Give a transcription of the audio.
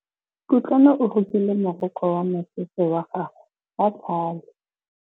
Kutlwanô o rokile morokô wa mosese wa gagwe ka tlhale.